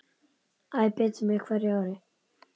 Æ betur með hverju ári.